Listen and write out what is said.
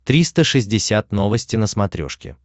триста шестьдесят новости на смотрешке